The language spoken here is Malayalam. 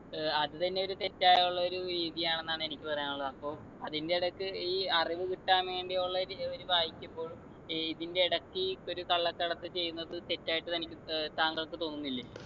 ഏർ അത് തന്നെ ഒരു തെറ്റായുള്ള ഒരു രീതിയാണെന്നാണ് എനിക്ക് പറയാനുള്ളത് അപ്പൊ അതിൻ്റെ ഇടക്ക്‌ ഈ അറിവ് കിട്ടാൻ വേണ്ടിയുള്ള ഒരു ഒര് വായിക്കുമ്പോൾ ഈ ഇതിൻ്റെ എടക്ക് ഈ ഒരു കള്ളക്കടത്ത് ചെയ്യുന്നത് തെറ്റായിട്ട് തനിക്ക് ഏർ താങ്കൾക്ക് തോന്നുന്നില്ലേ